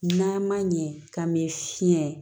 N'a ma ɲɛ k'a bɛ fiɲɛ